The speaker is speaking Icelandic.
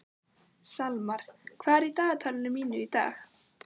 Salmar, hvað er í dagatalinu mínu í dag?